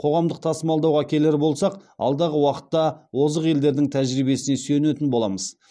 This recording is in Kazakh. қоғамдық тасымалдауға келер болсақ алдағы уақытта озық елдердің тәжірибесіне сүйенетін боламыз